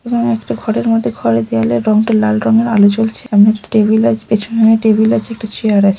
একটা ঘরের মধ্যে। ঘরের দেয়ালের রংটা লাল রঙের। আলো চলছে একটা টেবিল আছে। পেছনে টেবিল আছে একটা চেয়ার আছে।